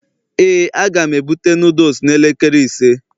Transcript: ,Éè a ga m ebute noodles n'elekere ise